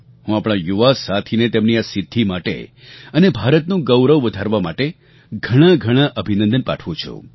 હું આપણા યુવા સાથીને તેમની આ સિદ્ધિ માટે અને ભારતનું ગૌરવ વધારવા માટે ઘણા ઘણા અભિનંદન પાઠવું છું